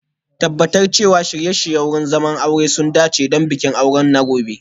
Tabbatar cewa shirye-shiryen wurin zama sun dace don bikin aure na gobe